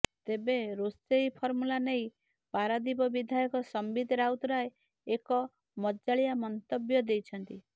ତେବେ ରୋଷେଇ ଫର୍ମୁଲା ନେଇ ପାରାଦୀପ ବିଧାୟକ ସମ୍ବିତ ରାଉତରାୟ ଏକ ମଜାଳିଆ ମନ୍ତବ୍ୟ ଦେଇଛନ୍ତି